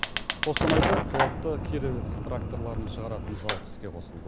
қостанайда қуатты кировец тракторларын шығаратын зауыт іске қосылды